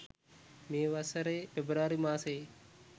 මේ වසරේ පෙබරවාරි මාසයේ